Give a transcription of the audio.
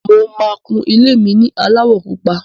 Mo máa kun ilé mi ní aláwọ̀ pupa.